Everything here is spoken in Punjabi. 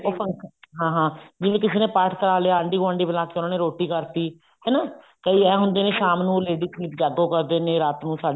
ਉਹ function ਹਾਂ ਹਾਂ ਜਿਵੇਂ ਕਿਸੀ ਨੇ ਪਾਠ ਕਰਾਲਿਆ ਆਂਡੀ ਗੁਆਂਡੀ ਬੁਲਾ ਕੇ ਉਹਨਾਂ ਨੇ ਰੋਟੀ ਕਰਤੀ ਹਨਾ ਕਈ ਐਂ ਹੁੰਦੇ ਨੇ ਸ਼ਾਮ ਨੂੰ lady ਸੰਗੀਤ ਜਾਗੋ ਕਰਦੇ ਨੇ ਰਾਤ ਨੂੰ ਸਾਡੇ